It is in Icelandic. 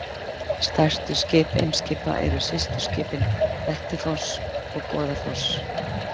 Stærstu skip Eimskipa eru systurskipin Dettifoss og Goðafoss.